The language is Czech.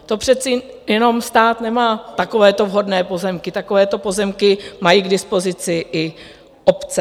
To přece jenom stát nemá takovéto vhodné pozemky, takovéto pozemky mají k dispozici i obce.